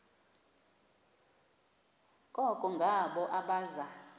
koko ngabo abaza